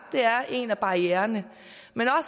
det er en af barriererne men